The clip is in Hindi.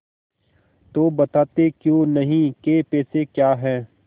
तो बताते क्यों नहीं कै पैसे का है